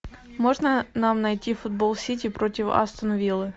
можно нам найти футбол сити против астон виллы